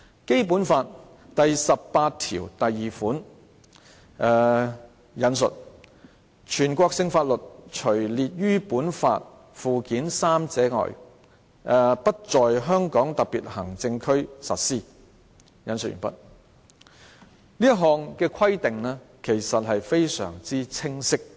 《基本法》第十八條第二款訂明，"全國性法律除列於本法附件三者外，不在香港特別行政區實施"，這項規定其實非常清晰。